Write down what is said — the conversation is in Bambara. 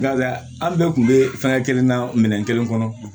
Nka an bɛɛ tun bɛ fɛn kelen na minɛn kelen kɔnɔ